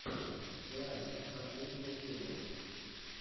лайф последняя серия